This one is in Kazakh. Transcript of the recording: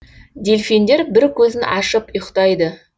дельфиндер бір көзін ашып ұйықтайды